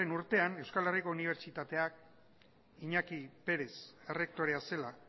urtean euskal herriko unibertsitateak iñaki pérez errektorea zela